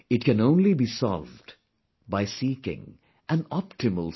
It can only be solved by seeking an optimal solution